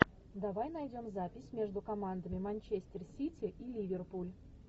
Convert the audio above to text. давай найдем запись между командами манчестер сити и ливерпуль